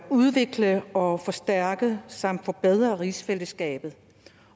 udvikle og forstærke samt forbedre rigsfællesskabet